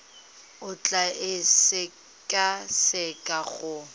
o tla e sekaseka go